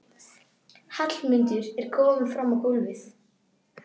Hallmundur er kominn fram á gólfið.